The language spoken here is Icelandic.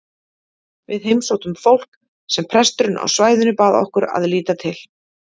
Við heimsóttum fólk sem presturinn á svæðinu bað okkur um að líta til.